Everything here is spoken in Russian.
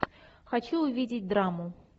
хочу увидеть драму